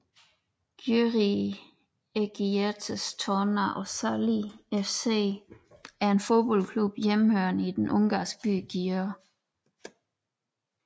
Győri Egyetertes Torna Osztaly FC er en fodboldklub hjemmehørende i den ungarske by Győr